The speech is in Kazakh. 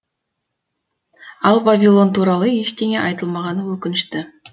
ал вавилон туралы ештеңе айтылмағаны өкінішті